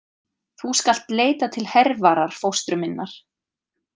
Þú skalt leita til Hervarar fóstru minnar.